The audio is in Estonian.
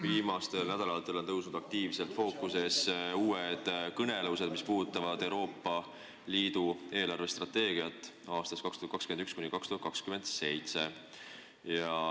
Viimastel nädalatel on tõusnud aktiivselt fookusesse uued kõnelused, mis puudutavad Euroopa Liidu eelarvestrateegiat aastateks 2021–2027.